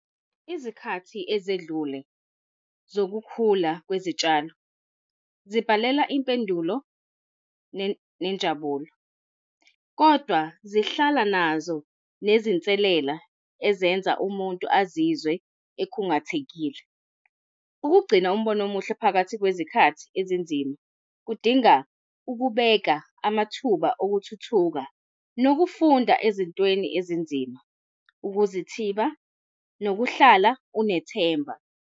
Izikhathi ezedlule zokukhula kwezitshalo zibhalela impendulo nenjabulo, kodwa zihlala nazo nezinselela ezenza umuntu azizwe ekhungathekile. Ukugcina umbono omuhle phakathi kwezikhathi ezinzima kudinga, ukubeka amathuba okuthuthuka, nokufunda ezintweni ezinzima, ukuzithiba nokuhlala unethemba.